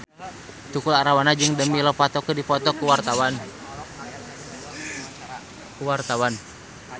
Tukul Arwana jeung Demi Lovato keur dipoto ku wartawan